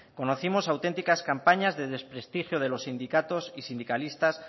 conocimos auténticas campañas de desprestigio de los sindicatos y sindicalistas